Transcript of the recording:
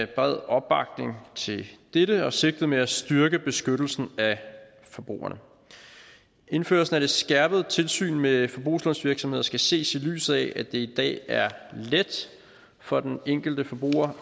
bred opbakning til dette og sigtet med at styrke beskyttelsen af forbrugerne indførelsen af det skærpede tilsyn med forbrugslånsvirksomheder skal ses i lyset af at det i dag er let for den enkelte forbruger